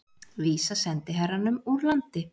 Vísa sendiherranum úr landi